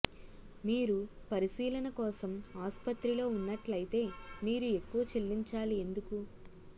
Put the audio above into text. మీరు పరిశీలన కోసం ఆసుపత్రిలో ఉన్నట్లయితే మీరు ఎక్కువ చెల్లించాలి ఎందుకు